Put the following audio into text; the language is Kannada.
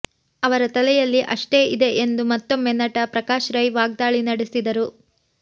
ಅವರ ತಲೆಯಲ್ಲಿ ಅಷ್ಟೇ ಇದೇ ಎಂದು ಮತ್ತೊಮ್ಮೆ ನಟ ಪ್ರಕಾಶ್ ರೈ ವಾಗ್ದಾಳಿ ನಡೆಸಿದ್ದಾರೆ